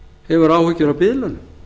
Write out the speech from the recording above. hefur áhyggjur af biðlaunum